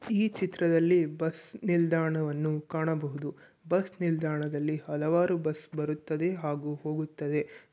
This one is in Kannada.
ಈ ಚಿತ್ರದಲ್ಲಿ ಬಸ್ ನಿಲ್ದಾಣವನ್ನು ಕಾಣಬಹುದು. ಬಸ್ ನಿಲ್ದಾಣದಲ್ಲಿ ಹಲವಾರು ಬಸ್ ಬರುತ್ತದೆ ಹಾಗೂ ಹೋಗುತ್ತದೆ.